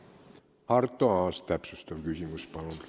Arto Aas, täpsustav küsimus, palun!